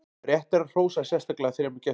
rétt er að hrósa sérstaklega þremur gestum